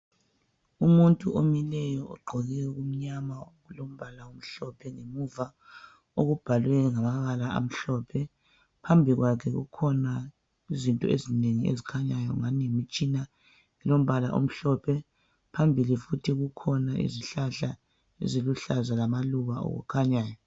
Umuntu omileyo ogqokeokumnyama okulombala omhlophe ngemuva okubhalwe ngamabala amhlophe. Phambi kwakhe kukhona izinto ezinengi ezikhanyayo ngani yimtshina elombala omhlophe. Phambili futhi kukhona izihlahla lamaluba akhanyayo.